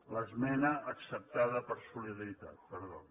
a l’esmena acceptada per solidaritat perdó